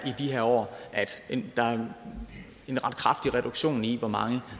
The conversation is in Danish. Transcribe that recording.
i de her år er der en ret kraftig reduktion i hvor mange